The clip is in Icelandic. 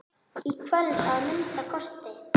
Í kvöld, að minnsta kosti.